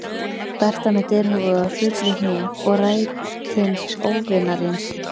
Berta með derhúfu og hrufluð hné- og rætins óvinarins